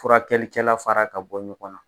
Furakɛlikɛla fara ka bɔ ɲɔgɔn na.